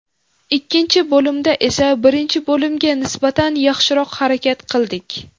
Ikkinchi bo‘limda esa birinchi bo‘limga nisbatan yaxshiroq harakat qildik.